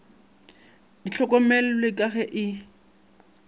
di hlokomellwe ka ge e